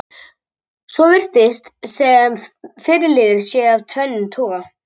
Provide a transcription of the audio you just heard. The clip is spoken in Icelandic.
Svo virðist sem fyrri liður sé af tvennum toga.